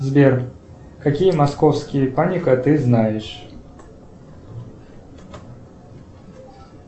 сбер какие московские паника ты знаешь